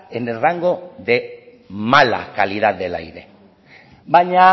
en el rango de mala calidad del aire baina